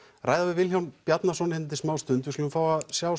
ræða við Vilhjálm Bjarnason hérna eftir smá stund við skulum fá að sjá